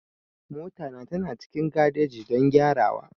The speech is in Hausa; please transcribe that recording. Mota na tana cikin garejin don gyarawa.